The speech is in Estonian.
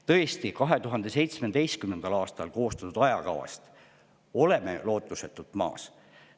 Tõesti, 2017. aastal koostatud ajakavast oleme lootusetult maas.